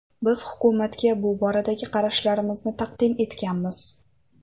Biz hukumatga bu boradagi qarashlarimizni taqdim etganmiz.